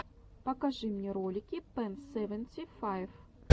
покажи мне ролики пэн сэвэнти файв